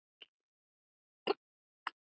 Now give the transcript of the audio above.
Vonandi líður þér betur núna.